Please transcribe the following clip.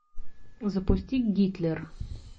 запусти гитлер